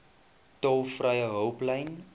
tolvrye hulplyn